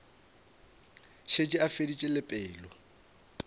šetše a feditše le pelo